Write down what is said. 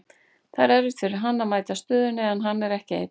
Það er erfitt fyrir hann að mæta stöðunni, en hann er ekki einn.